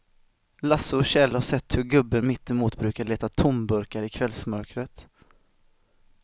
Lasse och Kjell har sett hur gubben mittemot brukar leta tomburkar i kvällsmörkret.